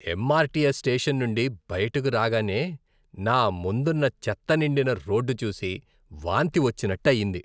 MRTS station నుండి బయటకు రాగానే, నా ముందున్న చెత్త నిండిన రోడ్డు చూసి వాంతి వచ్చినట్టు అయింది.